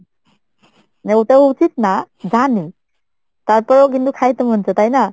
মানে ওটাও উচিত না জানি তারপরেও কিন্তু খাইতে মন চায় তাই না?